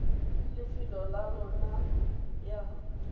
ya lefelo la lona ya